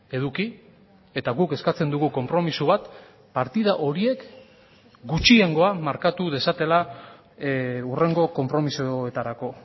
eduki eta guk eskatzen dugu konpromiso bat partida horiek gutxiengoa markatu dezatela hurrengo konpromisoetarako